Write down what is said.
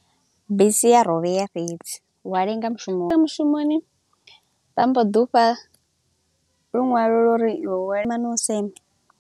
Bisi ya rovhea fhezi, u a lenga mushumoni, mushumoni vha mbo ḓi u fha lunwalo lwa uri iwe wa u senge.